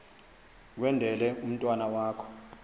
kwendele umntwana wakho